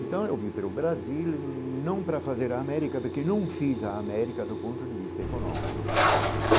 Então, eu vi para o Brasil não para fazer a América, porque não fiz a América do ponto de vista econômico.